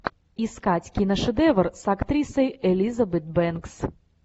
искать киношедевр с актрисой элизабет бэнкс